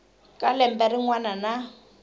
ka lembe rin wana na